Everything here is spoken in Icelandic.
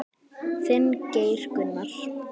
Þinn, Geir Gunnar.